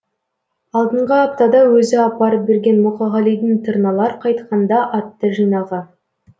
алдынғы аптада өзі апарып берген мұқағалидың тырналар қайтқанда атты жинағы